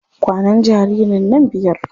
Kwanan jaririn nan biyar.